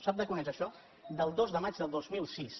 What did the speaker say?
sap de quan és això del dos de maig del dos mil sis